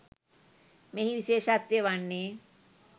මෙහි විශේෂත්වය වන්නේ